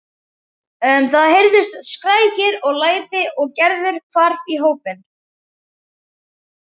Það heyrðust skrækir og læti og Gerður hvarf í hópinn.